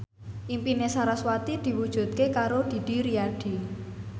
impine sarasvati diwujudke karo Didi Riyadi